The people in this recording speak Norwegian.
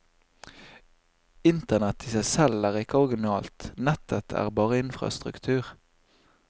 Internett i seg selv er ikke originalt, nettet er bare infrastruktur.